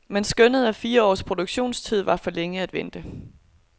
Man skønnede, at fire års produktionstid var for længe at vente.